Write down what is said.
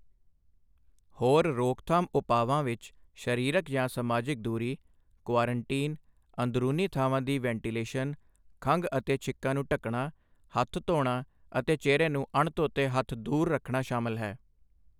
ਹੋਰ ਰੋਕਥਾਮ ਉਪਾਵਾਂ ਵਿੱਚ ਸਰੀਰਕ ਜਾਂ ਸਮਾਜਿਕ ਦੂਰੀ, ਕੁਆਰੰਟੀਨ, ਅੰਦਰੂਨੀ ਥਾਵਾਂ ਦੀ ਵੈਂਟੀਲੇਸ਼ਨ, ਖੰਘ ਅਤੇ ਛਿੱਕਾਂ ਨੂੰ ਢੱਕਣਾ, ਹੱਥ ਧੋਣਾ ਅਤੇ ਚਿਹਰੇ ਤੋਂ ਅਣਧੋਤੇ ਹੱਥ ਦੂਰ ਰੱਖਣਾ ਸ਼ਾਮਲ ਹਨ।